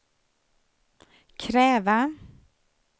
kräva